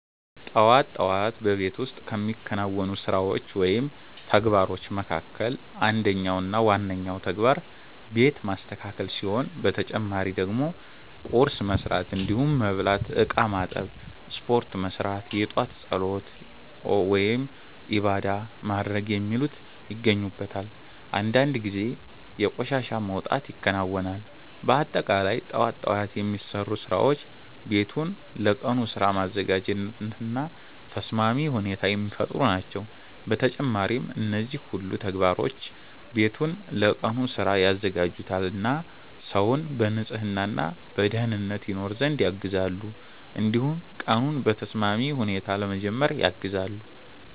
ጠዋት ጠዋት በቤት ውስጥ ከሚከናወኑ ስራዎች ወይም ተግባሮች መካከል አንደኛው እና ዋነኛው ተግባር ቤት ማስተካከል ሲሆን በተጨማሪ ደግሞ ቁርስ መስራት እንዲሁም መብላት፣ እቃ ማጠብ፣ ስፖርት መስራት፣ የጧት ፀሎት(ዒባዳ) ማድረግ የሚሉት ይገኙበታል። አንዳንድ ጊዜ የቆሻሻ መውጣት ይከናወናል። በአጠቃላይ ጠዋት ጠዋት የሚሰሩ ስራዎች ቤቱን ለቀኑ ስራ ማዘጋጀት እና ተስማሚ ሁኔታ የሚፈጥሩ ናቸው። በተጨማሪም እነዚህ ሁሉ ተግባሮች ቤቱን ለቀኑ ስራ ያዘጋጁታል እና ሰውን በንጽህና እና በደኅንነት ይኖር ዘንድ ያግዛሉ። እንዲሁም ቀኑን በተስማሚ ሁኔታ ለመጀመር ያግዛሉ።